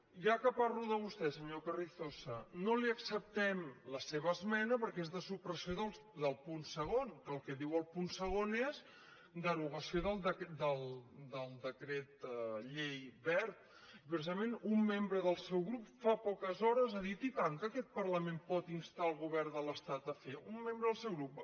ja que parlo de vostè senyor carrizosa no li ac·ceptem la seva esmena perquè és de supressió del punt segon que el que diu el punt segon és derogació del decret llei wert i precisament un membre del seu grup fa poques hores ha dit i tant que aquest parla·ment pot instar el govern de l’estat a fer un mem·bre del seu grup